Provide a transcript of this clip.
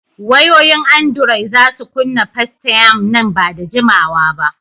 Wayoyin andiroi za su kunna Festaym nan ba da jimawa ba.